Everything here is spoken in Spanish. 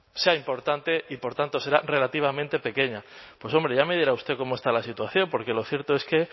sea importante y por tanto será relativamente pequeña pues hombre ya me dirá usted cómo está la situación porque lo cierto es que